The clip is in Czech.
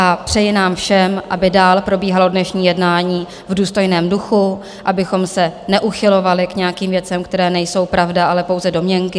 A přeji nám všem, aby dál probíhalo dnešní jednání v důstojném duchu, abychom se neuchylovali k nějakým věcem, které nejsou pravda, ale pouze domněnky.